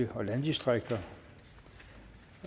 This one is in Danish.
for landdistrikter